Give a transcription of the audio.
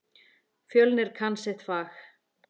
Fjölnir kann sitt fag.